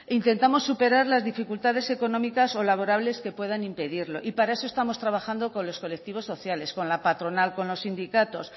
intentamos superar las dificultades económicas o laborables que puedan impedirlo y para eso estamos trabajando con los colectivos sociales con la patronal con los sindicatos